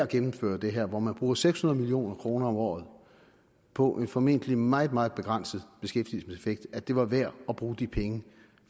gennemføre det her hvor man bruger seks hundrede million kroner om året på en formentlig meget meget begrænset beskæftigelseseffekt at det var værd at bruge de penge